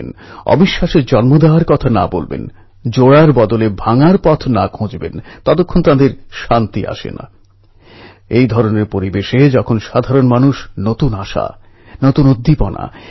অবশেষে সর্দার প্যাটেল মূর্তি নির্মাণ করে ২৮শে ফেব্রুয়ারি ১৯২৯এ মহাত্মা গান্ধীকে আমন্ত্রণ জানান সেই মূর্তির উদ্বোধন করতে